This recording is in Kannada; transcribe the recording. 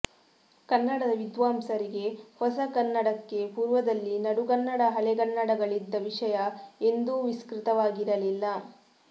ಕನ್ನಡದ ವಿದ್ವಾಂಸರಿಗೆ ಹೊಸಗನ್ನಡಕ್ಕೆ ಪೂರ್ವದಲ್ಲಿ ನಡುಗನ್ನಡ ಹಳೆಗನ್ನಡಗಳಿದ್ದ ವಿಷಯ ಎಂದೂ ವಿಸ್ತೃತವಾಗಿರಲಿಲ್ಲ